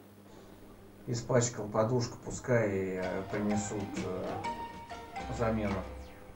испачкал подушку пускай принесут замену